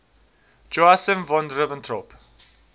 joachim von ribbentrop